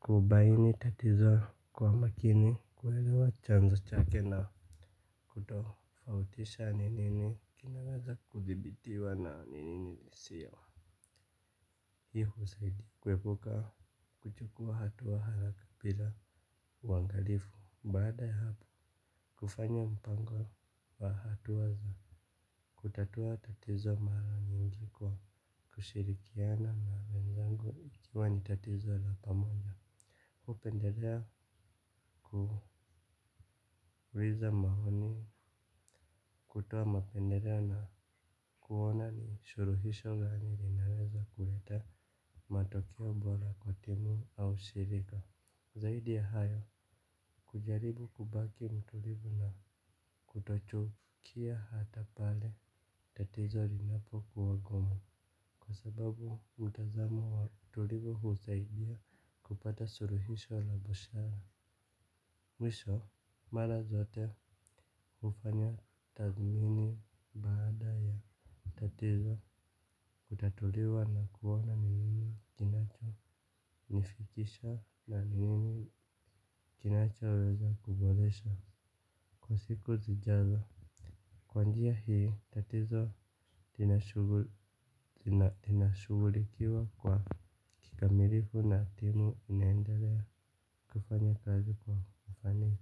kubaini tatizo kwa makini. Kuelewa chanzo chake na kutofautisha ni nini kinaweza kudhibitiwa na ni nini lisio hii saidi kuepuka kuchukua hatua haraka pila uangalifu. Baada ya hapo kufanya mpango wa hatua za kutatua tatizo mara nyingi kwa kushirikiana na wenzangu ikiwa ni tatizo la pamoja. Kupendelea kuhuiza mahoni kutoa mapendeleo na kuona ni shuruhisho gani rinalaweza kuleta matokea bora kwa timu au shirika. Zaidi ya hayo kujaribu kubaki mtulivu na kutochovu Kia hata pale tatizo linapo kuwa gumu. Kwa sababu mtazamo wa utulivu husaidia kupata suruhisho la bushara. Mwisho mara zote ufanya tathmini baada ya tatizo kutatuliwa na kuoana ni nini kinacho nifikisha na ni nini kinacho weza kuboresha kwa siku zijazo. Kwa njia hii tatizo lina shugulikiwa kwa kikamirifu na timu inaendelea kufanya kazi kwa mfani.